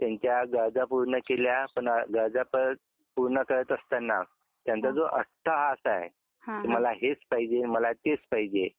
त्यांच्या गरजा पूर्ण केल्या पण गरजा परत पूर्ण करत असताना त्यांचा जो अट्टाहास आहे की मला हेच पाहिजे तेच पाहिजे